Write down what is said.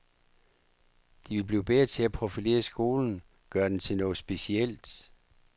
De vil blive bedre til at profilere skolen, gøre den til noget specielt.